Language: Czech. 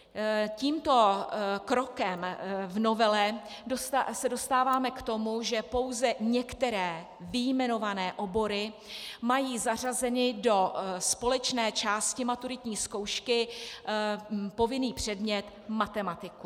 Tímto krokem v novele se dostáváme k tomu, že pouze některé vyjmenované obory mají zařazeny do společné části maturitní zkoušky povinný předmět matematiku.